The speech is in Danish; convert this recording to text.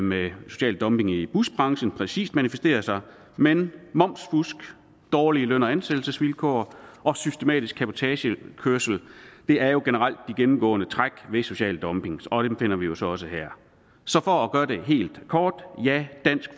med social dumping i busbranchen præcis manifesterer sig men momsfusk dårlige løn og ansættelsesvilkår og systematisk cabotagekørsel er jo generelt de gennemgående træk ved social dumping og dem finder vi jo så også her så for at gøre det helt kort ja dansk